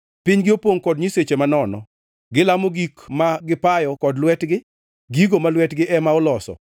Pinygi opongʼ kod nyiseche manono; gilamo gik ma gipayo kod lwetgi, gigo ma lwetgi ema oloso.